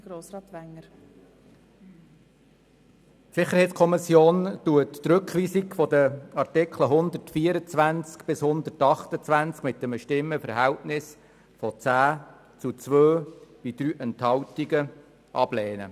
der SiK. Die SiK lehnt die Rückweisung der Artikel 124 bis 128 mit einem Stimmenverhältnis von 10 zu 2 Stimmen bei 3 Enthaltungen ab.